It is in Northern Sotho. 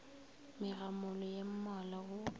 megamolo ye mmalwa o a